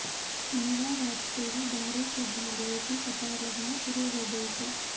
शनिवार रात से ही बाहरी श्रद्धालुओं की कतार लगना शुरू हो गई थी